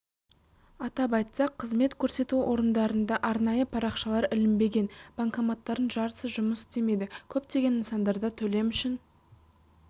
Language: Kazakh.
атап айтсақ қызмет көрсету орындарында арнайы парақшалар ілінбеген банкоматтардың жартысы жұмыс істемейді көптеген нысандарда төлем үшін